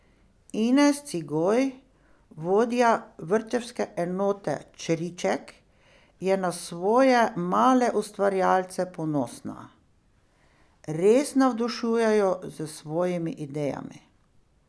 Ines Cigoj, vodja vrtčevske enote Čriček, je na svoje male ustvarjalce ponosna: "Res navdušujejo s svojimi idejami.